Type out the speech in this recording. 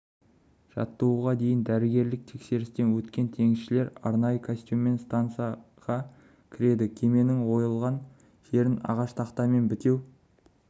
жаттығуға дейін дәрігерлік тексерістен өткен теңізшілер арнайы костюммен стансаға кіреді кеменің ойылған жерін ағаш тақтамен бітеу